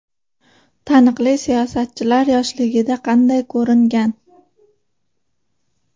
Taniqli siyosatchilar yoshligida qanday ko‘ringan?